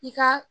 I ka